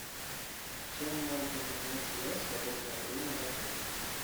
чем можно занять себя в свободное время в отеле